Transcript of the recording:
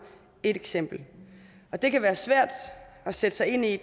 et eksempel det kan være svært at sætte sig ind i